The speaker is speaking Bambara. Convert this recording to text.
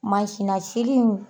na sinni